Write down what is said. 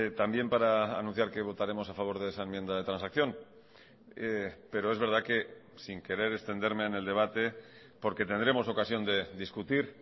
también para anunciar que votaremos a favor de esa enmienda de transacción pero es verdad que sin querer extenderme en el debate porque tendremos ocasión de discutir